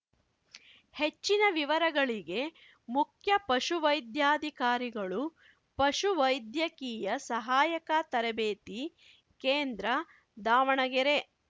ಹೆಚ್ಚಿನ ವಿವರಗಳಿಗೆ ಮುಖ್ಯ ಪಶುವೈದ್ಯಾಧಿಕಾರಿಗಳು ಪಶು ವೈದ್ಯಕೀಯ ಸಹಾಯಕ ತರಬೇತಿ ಕೇಂದ್ರ ದಾವಣಗೆರೆ